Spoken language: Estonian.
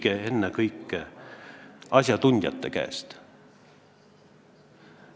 Küsige ennekõike asjatundjate käest.